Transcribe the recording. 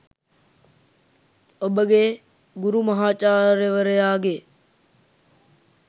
ඔබගේ ගුරු මහාචාර්යවරයාගේ